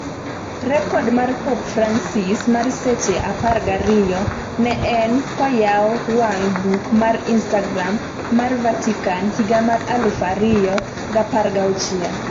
rekod mar pop francis mar seche 12 ne en koyawo wang buk mar instagram mar Vatican higa mar 2016